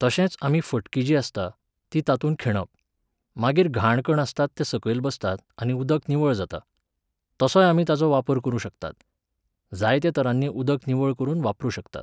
तशेंच आमी फटकी जी आसता, ती तातूंत खिणप. मागीर घाण कण आसतात ते सकयल बसतात आनी उदक निवळ जाता. तसोय आमी ताचो वापर करूं शकतात. जायत्या तरानीं उदक निवळ करून वापरूंक शकतात